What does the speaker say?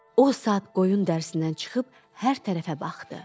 O saat qoyun dərisindən çıxıb hər tərəfə baxdı.